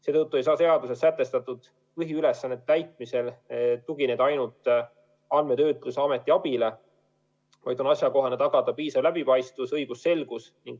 Seetõttu ei saa seaduses sätestatud põhiülesannete täitmisel tugineda ainult andmetöötluse ameti abile, vaid on asjakohane tagada piisav läbipaistvus ja õigusselgus.